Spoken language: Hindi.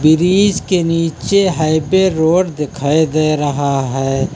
ब्रिज के नीचे हाईवे रोड दिखाई दे रहा है।